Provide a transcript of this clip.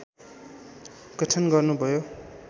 गठन गर्नुभयो